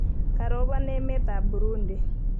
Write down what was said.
Karoban emet ab Burundi